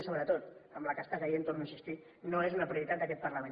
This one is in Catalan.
i sobretot amb la que està caient hi torno a insistir no és una prioritat d’aquest parlament